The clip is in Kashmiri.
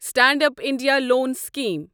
stand up India loan scheme